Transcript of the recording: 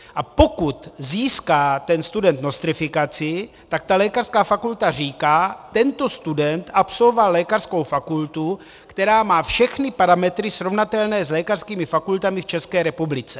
A pokud získá ten student nostrifikaci, tak ta lékařská fakulta říká: Tento student absolvoval lékařskou fakultu, která má všechny parametry srovnatelné s lékařskými fakultami v České republice.